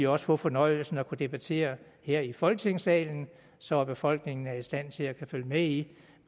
også få fornøjelsen af at kunne debattere her i folketingssalen så befolkningen er i stand til at følge med i